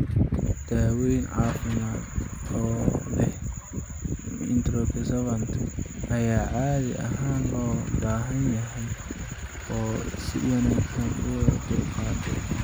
Daaweyn caafimaad oo leh anticonvulsant ayaa caadi ahaan loo baahan yahay oo si wanaagsan loo dulqaatay.